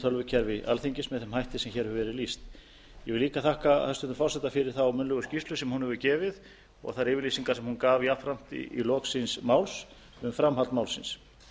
tölvukerfi alþingis með þeim hætti sem hér hefur verið lýst ég vil líka þakka hæstvirtum forseta fyrir þá munnlegu skýrslu sem hún hefur gefið og þær yfirlýsingar sem hún gaf jafnframt í lok síns máls um framhald málsins